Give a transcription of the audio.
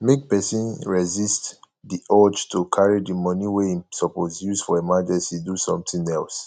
make person resist di urge to carry di money wey im suppose use for emergency do something else